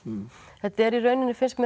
þetta er í rauninni finnst mér